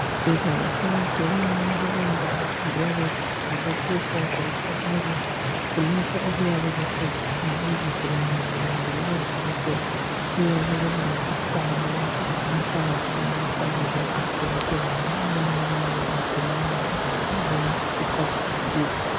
Ezibhedlela lasemakilinika kulendawo eziyabe zibhale patients' waiting area, kulapho okuyabe kuhlezi khona izigulane zilindele odokotela , kuyabe kulezihlalo lapho abahlala khona besalindele udokotela ngoba abanye bayabe begula bengakwanisi ukuma isikhathi eside.